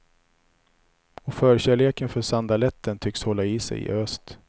Och förkärleken för sandaletten tycks hålla i sig i öst.